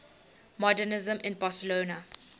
modernisme in barcelona